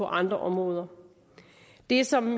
andre områder det som